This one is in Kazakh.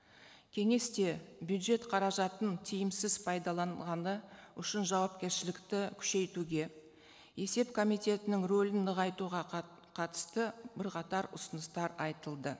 кеңесте бюджет қаражатын тиімсіз пайдаланғаны жауапкершілікті күшейтуге есеп комитетінің рөлін нығайтуға қатысты бірқатар ұсыныстар айтылды